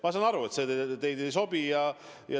Ma saan aru, et see teile ei sobi.